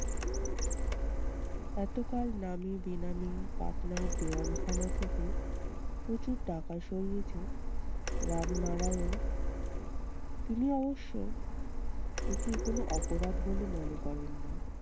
এতকাল নামে বেনামে পাটনার দেওয়ান খানা থেকে প্রচুর টাকা সরিয়েছে রামনারায়ণ। তিনি অবশ্য একে কোনো অপরাধ বলে মনে করেন না।